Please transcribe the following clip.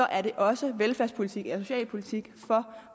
er det også velfærdspolitik eller socialpolitik for